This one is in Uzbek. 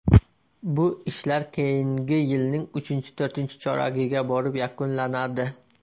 Bu ishlar keyingi yilning uchinchito‘rtinchi choragiga borib yakunlanadi.